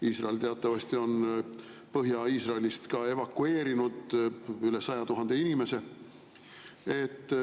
Iisrael on teatavasti Põhja-Iisraelist evakueerinud üle 100 000 inimese.